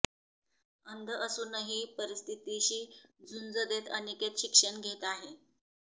अंध असूनही परिस्थितीशी झुंज देत अनिकेत शिक्षण घेत आहे